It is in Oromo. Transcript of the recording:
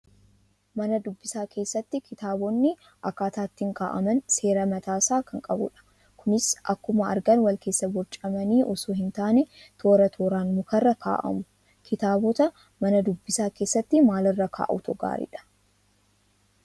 Mana dubbisaa keessatti kitaabonni akkaataa ittiin kaa'aman seera mataasaa kan qabudha. Kunis akkuma argan wal keessa borcamanii osoo hin taane, toora tooraan mukarra kaa'amu. Kitaabota mana dubbisaa keessatti maalirra kaa'uutu gaariidha?